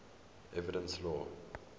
evidence law